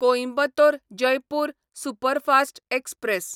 Coimbatore Jaipur superfast express